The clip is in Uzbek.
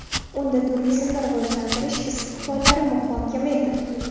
Unda turizmni rivojlantirish istiqbollari muhokama etildi.